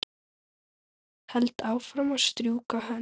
Held áfram að strjúka hönd